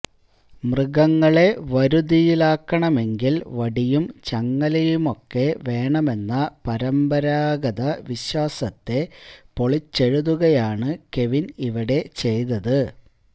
മൃഗങ്ങളെ വരുതിയിലാക്കണമെങ്കിൽ വടിയും ചങ്ങലയുമൊക്കെ വേണമെന്ന പരമ്പരാഗത വിശ്വാസത്തെ പൊളിച്ചെഴുതുകയാണ് കെവിൻ ഇവിടെ ചെയ്തത്